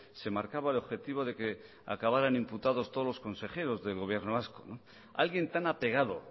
se marcaba el objetivo de que acabaran imputados todos los consejeros del gobierno vasco alguien tan apegado